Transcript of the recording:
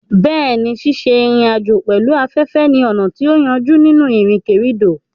Bẹ́ẹ̀ni, ṣíṣe ìrìn àjò pẹ̀lú afẹ́fẹ́ ni ọ̀nà tó yájú nínú ìrìnkèrindò.